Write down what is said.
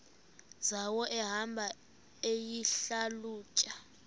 zawo ehamba eyihlalutya